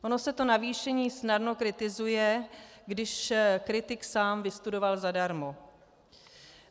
Ono se to navýšení snadno kritizuje, když kritik sám vystudoval zadarmo.